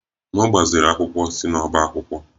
M gbaziri akwụkwọ si n'ọbá akwụkwọ.